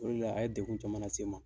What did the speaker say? O de la, a ye degun caman lase n ma.